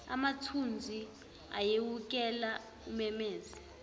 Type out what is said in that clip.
amathunzi ayewukela umemeze